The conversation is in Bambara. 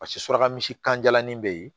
Paseke suraka misi kanjalanin be yen